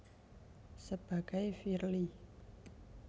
Sebagai Firly